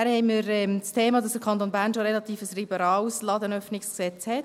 Weiter haben wir das Thema, dass der Kanton Bern schon ein relativ liberales Ladenöffnungsgesetz hat.